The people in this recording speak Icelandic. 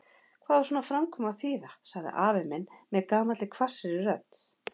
Hvað á svona framkoma að þýða? sagði afi minn með gamalli hvassri rödd.